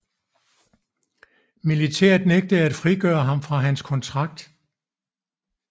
Militæret nægtede at frigøre ham fra hans kontrakt